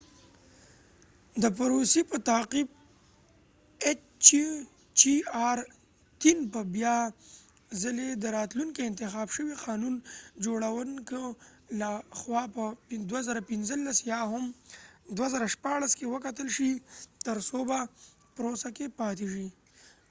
د پروسی په تعقیب ایچ چې آر -3- hjr به بیا څلی د راتلونکې انتخاب شوي قانون جوړونکو له خوا په 2015 یا هم 2016 کې وکتل شي تر څو په پروسه کې پاتی شي